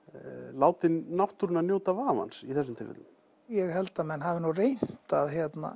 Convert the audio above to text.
látið náttúruna njóta vafans í þessum tilfellum ég held að menn hafi nú reynt að